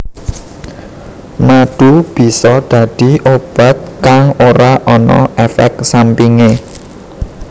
Madu bisa dadi obat kang ora ana éfék sampingé